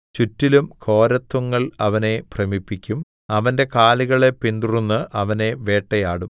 ചുറ്റിലും ഘോരത്വങ്ങൾ അവനെ ഭ്രമിപ്പിക്കും അവന്റെ കാലുകളെ പിന്തുടർന്ന് അവനെ വേട്ടയാടും